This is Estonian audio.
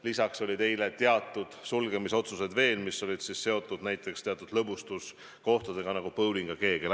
Eile tulid ka paljud sulgemisotsused, mis olid seotud teatud lõbustuskohtadega, nagu bowling ja keegel.